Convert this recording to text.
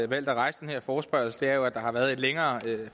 valgt at rejse den her forespørgsel er jo at der har været et længere